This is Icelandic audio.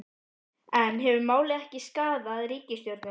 En hefur málið ekki skaðað ríkisstjórnina?